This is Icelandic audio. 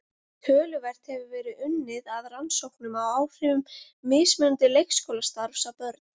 Töluvert hefur verið unnið að rannsóknum á áhrifum mismunandi leikskólastarfs á börn.